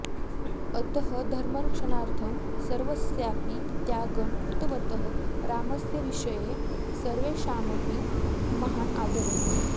अतः धर्मरक्षणार्थं सर्वस्यापि त्यागं कृतवतः रामस्य विषये सर्वेषामपि महान् आदरः